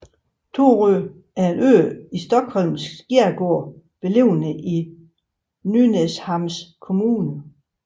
Torö er en ø i Stockholms skærgård beliggende i Nynäshamns kommun